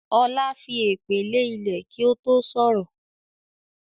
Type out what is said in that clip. Ọlá fi èpè lè ilẹ̀ kí ó tó sọ̀rọ̀